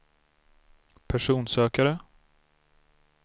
personsökare